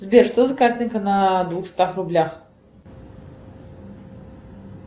сбер что за картинка на двухстах рублях